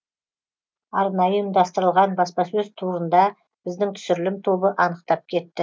арнайы ұйымдастырылған баспасөз турында біздің түсірілім тобы анықтап кетті